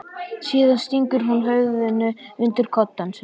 Síðan stingur hún höfðinu undir koddann sinn.